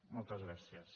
moltes gràcies